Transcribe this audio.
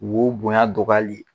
Wo bonya dɔgɔyali ye